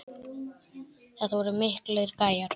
Þetta voru miklir gæjar.